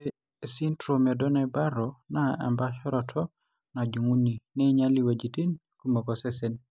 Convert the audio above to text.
Ore esindirom eDonnai Barrow naa empaasharoto najung'uni neinyil iwuejitin kumok osesen.